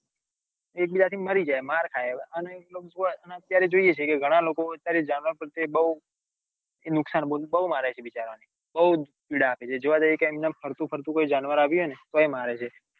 એકબીજા થી મારી જાય માર ખાય અને અત્યારે જોઈએ છીએ કે અત્યારે જાનવર પ્રત્યે બૌ નુકસાન બૌ મારે છે બિચારા ને બૌ જ પીડા આપે છે બિચારા ને જોવા જઈએ ક્યાંક ફરતું ફરતું કોઈ જાનવર આવે તો એ મારે છે.